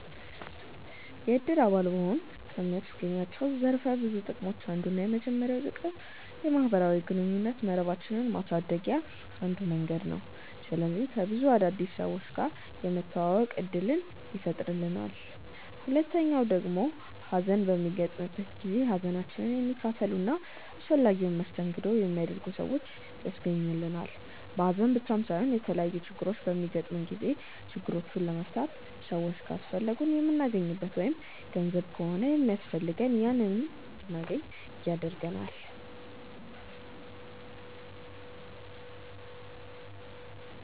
የእድር አባል መሆን ከሚያስገኛቸው ዘርፈ ብዙ ጥቅሞች አንዱና የመጀመሪያው ጥቅም የማህበራዊ ግንኙነት መረባችንን ማሳደግያ አንዱ መንገድ ነው። ስለዚህ ከብዙ አዳዲስ ሰዎች ጋር የመተዋወቅ እድልን ይፈጥርልናል። ሁለተኛው ደግሞ ሀዘን በሚገጥመን ጊዜ ሀዘናችንን የሚካፈሉ እና አስፈላጊውን መስተንግዶ የሚያደርጉ ሰዎችን ያስገኝልናል። በሀዘን ብቻም ሳይሆን የተለያዩ ችግሮች በሚገጥሙን ጊዜ ችግሮቹን ለመፍታት ሰዎች ካስፈለጉን የምናገኝበት ወይም ገንዘብ ከሆነ ሚያስፈልገን ያንን እንድናገኝ ይረዳናል።